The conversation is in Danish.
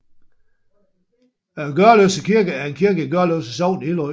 Gørløse Kirke er en kirke i Gørløse Sogn i Hillerød Kommune